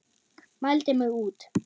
Mældi mig út.